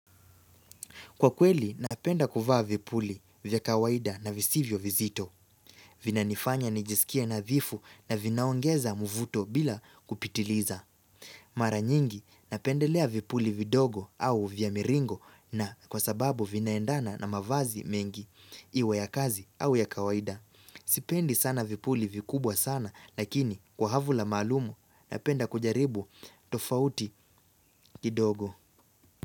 Kwa kweli, napenda kuvaa vipuli vya kawaida na visivyo vizito. Vinanifanya nijisikie nadhifu na vinaongeza muvuto bila kupitiliza. Mara nyingi, napendelea vipuli vidogo au vya miringo na kwa sababu vinaendana na mavazi mengi, iwe ya kazi au ya kawaida. Sipendi sana vipuli vikubwa sana lakini kwa havula maalumu, napenda kujaribu tofauti kidogo.